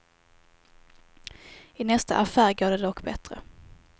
I nästa affär går det dock bättre.